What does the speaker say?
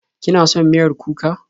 Kina son miyar kuka?